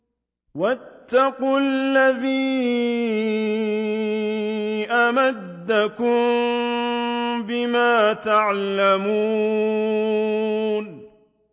وَاتَّقُوا الَّذِي أَمَدَّكُم بِمَا تَعْلَمُونَ